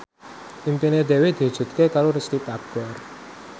impine Dewi diwujudke karo Risty Tagor